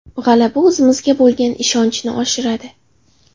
G‘alaba o‘zimizga bo‘lgan ishonchni oshiradi.